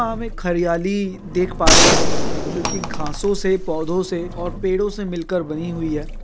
यहाँ हम एक हरयाली देख पा रहे हैं जो की घँसो से पोधों से पेड़ों से मिल कर बनी हुई हैं।